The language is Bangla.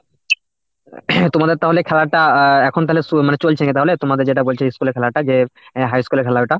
তোমাদের তাহলে খেলাটা আহ এখন তাহলে সু মানে চলছে নাকি তাহলে তোমাদের যেটা বলছি school এর খেলাটা যে high school এর খেলাটা?